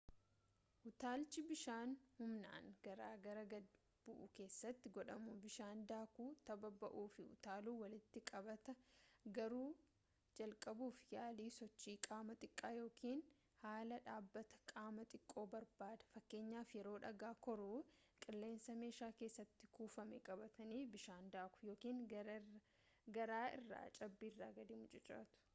utaalchi bishaan humnaan gaararraa gad bu’u keessatti godhamu bishaan daakuu tabba ba’uu fi utaaluu walitti qabataa--garuu jalqabuuf yaalii sochii qaamaa xiqqaa ykn haala dhaabbata qaamaa xiqqoo barbaada fakkeenyaaf yeroo dhagaa koruu qilleensa meeshaa keessatti kuufame qabatanii bishaan daakuu ykn gaara irraa cabbiirra gadi mucucaachuu